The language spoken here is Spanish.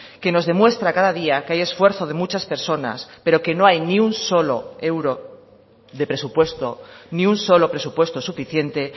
que nos demuestra cada día que hay esfuerzo de muchas personas pero que no hay ni un solo euro de presupuesto ni un solo presupuesto suficiente